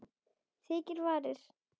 Þykkar varir.